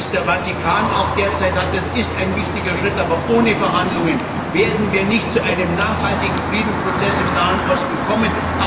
Dies ist ein wichtiger Schritt, aber ohne Verhandlungen werden wir nicht zu einem nachhaltigen Friedensprozess im Nahen Osten kommen.